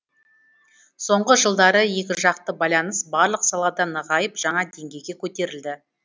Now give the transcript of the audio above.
соңғы жылдары екіжақты байланыс барлық салада нығайып жаңа деңгейге көтерілді